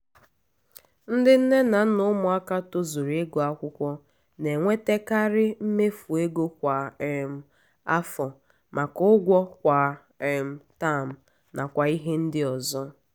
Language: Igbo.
ndị nne na nna ụmụaka tozuru ịgụ akwụkwọ na-enwetekari mmefu ego kwa um afọ maka ụgwọ kwa um taam nakwa ihe ndị ọzọ